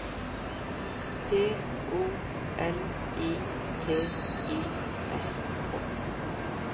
P O L I T I S K